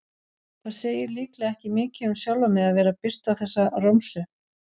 Það segir líklega ekki mikið um sjálfan mig að vera að birta þessa romsu.